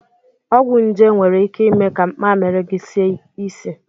Ọgwụ nje nwere ike ime ka mmamịrị gị sie isi.